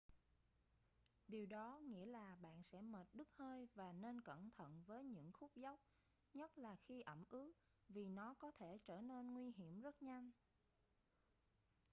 điều đó nghĩa là bạn sẽ mệt đứt hơi và nên cẩn thận với những khúc dốc nhất là khi ẩm ướt vì nó có thể trở nên nguy hiểm rất nhanh